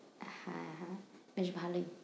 হ্যাঁ হ্যাঁ বেশ ভালোই।